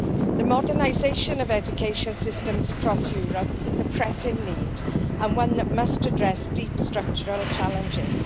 The modernisation of education systems across Europe is a pressing need, and one that must address deep structural challenges.